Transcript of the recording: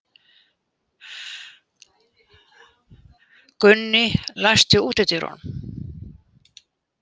Gunný, læstu útidyrunum.